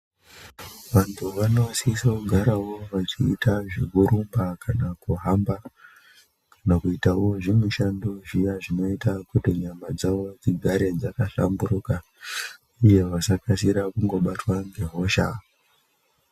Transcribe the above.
Vantu vanosisa kugarawo vachiita zvekurumba kana kuhamba kana kuitawo zvimushando zviya zvinoita kuti nyama dzavo dzigare dzakahlamburuka uye vasakasira kundobatwa ngehosha.